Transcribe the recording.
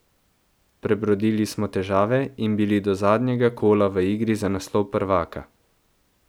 Prebrodili smo težave in bili do zadnjega kola v igri za naslov prvaka.